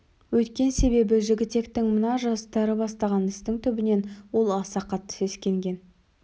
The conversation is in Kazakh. өйткен себебі жігітектің мына жастары бастаған істің түбінен ол аса қатты сескенген